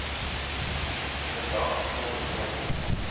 vandag kon meemaak